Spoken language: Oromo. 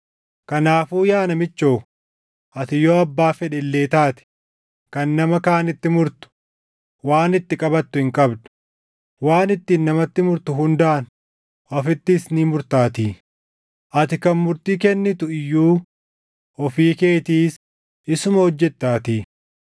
Kanaafuu yaa namichoo, ati yoo abbaa fedhe illee taate kan nama kaanitti murtu waan itti qabattu hin qabdu; waan ittiin namatti murtu hundaan ofittis ni murtaatii; ati kan murtii kennitu iyyuu ofii keetiis isuma hojjettaatii.